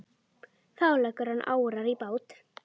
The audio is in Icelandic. Þá leggur hann árar í bát.